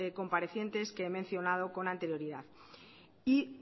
comparecientes que he mencionado con anterioridad y